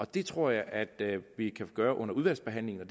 det tror jeg at vi kan gøre under udvalgsbehandlingen og